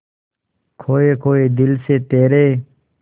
खोए खोए दिल से तेरे